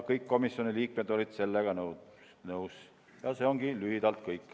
See ongi lühidalt kõik.